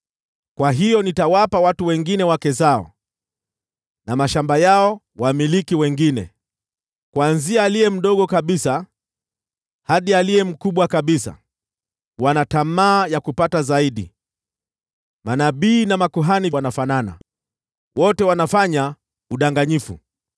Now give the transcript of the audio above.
Kwa hiyo nitawapa watu wengine wake zao, na mashamba yao kwa wamiliki wengine. Kuanzia aliye mdogo kabisa hadi aliye mkubwa kabisa, wote wana tamaa ya kupata zaidi; manabii na makuhani wanafanana, wote wanafanya udanganyifu.